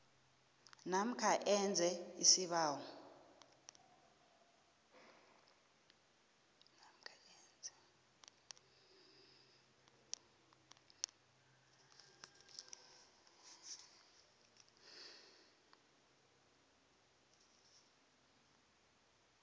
namkha enze isibawo